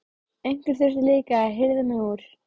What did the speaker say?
Einhver þurfti líka að hirða mig úr